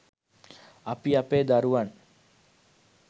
අපි අපේ දරුවන්